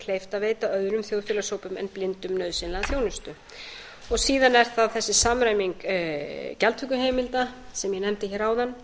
kleift að veita öðrum þjóðfélagshópum en blindum nauðsynlega þjónustu síðan er það þessi samræming gjaldtökuheimilda sem ég nefndi áðan